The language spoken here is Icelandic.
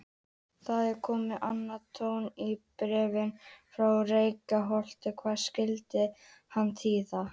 Það er kominn annar tónn í bréfin frá Reykholti, hvað skyldi hann þýða?